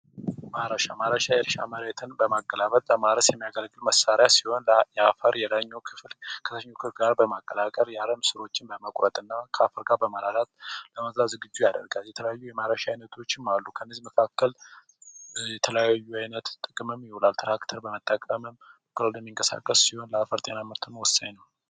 ማረሻ ማረሻ የእርሻ መሬትን በማገላበጥ ለማረስ የሚያገለግል መሳሪያ ሲሆን የአፈሩ ክፍል ከታችኛው ክፍል ጋር በመቀላቀል አረሙን በመቁረጥና ከአፈር ጋር በማዋሃድ ዝግጁ ያደርጋል። የተለያዩ የማረሻ አይነቶችም አሉ ከነዚህም መካከል ማረሻ ጥቅም ላይ ይውላል። ትራክተር በመጠቀምም የሚንቀሳቀስ ሲሆን ለአፈር ጥበቃ ወሳኝ ነው።